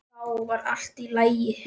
Þá var allt í lagi.